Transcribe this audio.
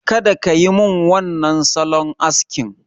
Kada kayi min wannan salon askin!